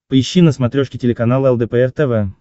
поищи на смотрешке телеканал лдпр тв